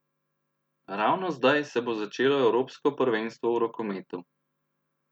Ravno zdaj se bo začelo evropsko prvenstvo v rokometu.